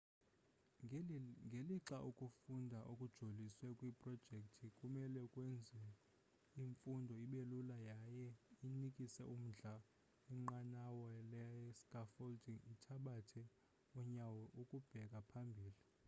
ngelixa ukufunda okujoliswe kwiprojekthi kumele kwenze imfundo ibelula yaye inikise umdla inqwanqwa le scaffolding ithabatha unyawo ukubheka phambili